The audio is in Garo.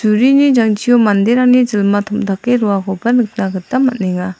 jangchio manderangni jilma tom·dake roakoba nikna gita man·enga.